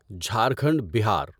جھار کھنڈ بِہار